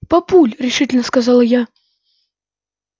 папуль решительно сказала я